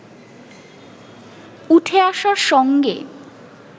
উঠে আসে আশার সঙ্গে